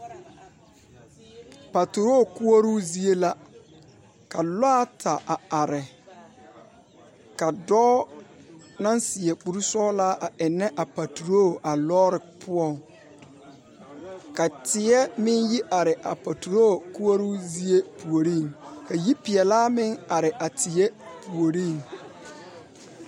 Paturo kuɔroo zeɛ la ka lɔɛ ata a arẽ ka doɔ nang seɛ kuri sɔglaa a enne a paturo a loɔri puo ka tɛɛ meng yi arẽ a paturo kouro zie pouring ka yipeelaa meng arẽ a tɛɛ poɔring.